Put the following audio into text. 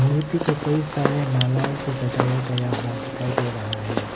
मूर्ति को कई सारे मालाओं से सजाया गया हुआ दिखाई दे रहा है।